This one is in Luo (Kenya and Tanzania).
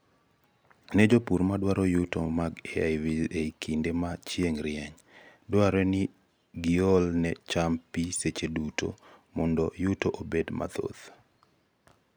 nee jopur madwaro yuto mag AIVs ei kinde ma chieng' rieny, dwarore ni giol ne cham pii seche duto mondo yuto obed mathoth